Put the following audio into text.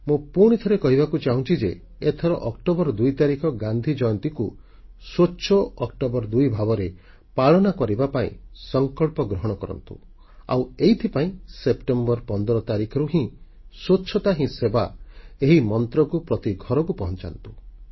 ମୁଁ ପୁଣିଥରେ କହିବାକୁ ଚାହୁଁଛି ଯେ ଏଥର ଅକ୍ଟୋବର 2 ତାରିଖ ଗାନ୍ଧି ଜୟନ୍ତୀକୁ ସ୍ୱଚ୍ଛ ଅକ୍ଟୋବର 2 ଭାବରେ ପାଳନ କରିବା ପାଇଁ ସଂକଳ୍ପ ଗ୍ରହଣ କରନ୍ତୁ ଆଉ ଏଥିପାଇଁ ସେପ୍ଟେମ୍ବର 15 ତାରିଖରୁ ହିଁ ସ୍ୱଚ୍ଛତା ହିଁ ସେବା ଏହି ମନ୍ତ୍ରକୁ ପ୍ରତି ଘରକୁ ପହଂଚାନ୍ତୁ